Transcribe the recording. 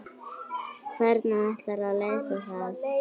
Hvernig ætlarðu að leysa það?